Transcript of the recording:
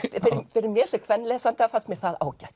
fyrir mér sem kvenlesanda fannst mér það ágætt